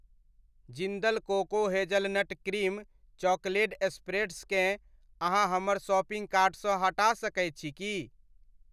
Jindal cocoa hazelnut cream chocolate स्प्रेड्सकेँ, अहाँ हमर शॉपिंग कार्टसँ हटा सकैत छी की?